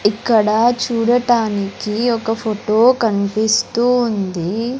ఇక్కడ చూడటానికి ఒక ఫోటో కనిపిస్తూ ఉంది.